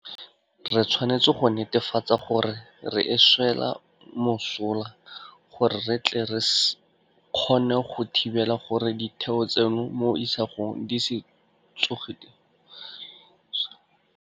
Re tshwanetse go netefatsa gore re e swela mosola gore re tle re kgone go thibela gore ditheo tseno mo isagong di se tsoge di gogilwe gape ka nko.